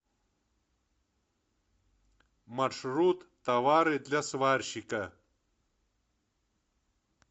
маршрут товары для сварщика